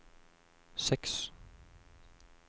seks